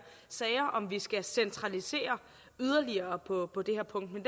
sager om vi skal centralisere yderligere på det her punkt men